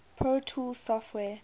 pro tools software